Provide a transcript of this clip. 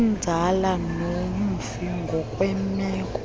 kwenzala nomfi ngokwemeko